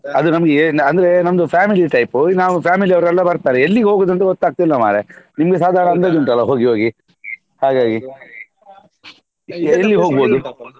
ಅದು ನಮ್ಗೆ ಅಂದ್ರೆ ನಮ್ದು family type ನಾವ್ family ಅವರೆಲ್ಲ ಬರ್ತಾರೆ ಎಲ್ಲಿಗೆ ಹೋಗುದಂತ ಗೊತ್ತಾಗ್ತಿಲ್ಲ ಮಾರ್ರೆ ನಿನ್ಗೆ ಸಾಧಾರಣ ಅಂದಾಜು ಉಂಟಲ್ಲ ಹೋಗಿ ಹೋಗಿ ಹಾಗಾಗಿ ಎಲ್ಲಿ ಹೋಗ್ಬೋದು?